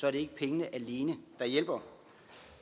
er det ikke pengene alene der hjælper